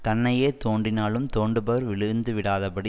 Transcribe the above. தன்னையே தோண்டினாலும் தோண்டுபவர் விழுந்துவிடாதபடி